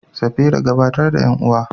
Safira, gabatar da ƴan uwa.